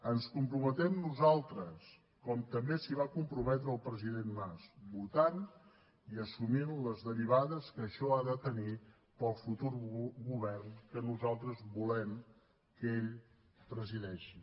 ens hi comprometem nosaltres com també s’hi va comprometre el president mas votant i assumint les derivades que això ha de tenir per al futur govern que nosaltres volem que ell presideixi